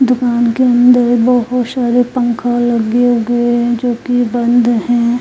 दुकान के अंदर बोहोत सारे पंखा लगे हुए है जो की बंद है ।